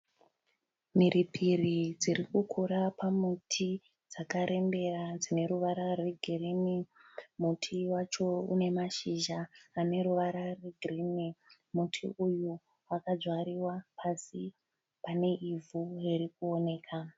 Mhiripiri dziri kukura pamuti dzakarembera dzine ruvara rwegirini. Muti wacho une mashizha ane ruvara rwegirini. Muti uyu wakadzvariwa pasi pane ivhu riri kuoneka.